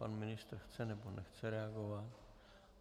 Pan ministr chce, nebo nechce reagovat?